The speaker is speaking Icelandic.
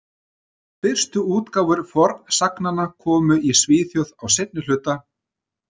Fyrstu útgáfur fornsagnanna komu í Svíþjóð á seinna hluta